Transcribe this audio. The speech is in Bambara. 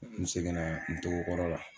N seginna n togo kɔrɔ la.